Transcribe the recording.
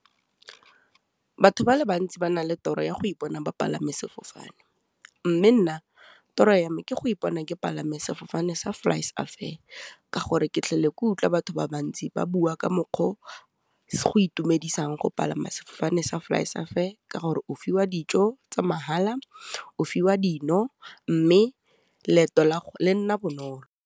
Batho ba le bantsi ba na le toro ya go ipona ba palame sefofane, mme nna toro ya me ke go ipona ke palame sefofane sa Flysafair, ka gore ke kutlwa batho ba di ba bua ka mokgwa o go itumedisang go palama sefofane sa Flysafair, ka gore o fiwa dijo tsa mahala, o fiwa dino, mme leeto lago le nna bonolo.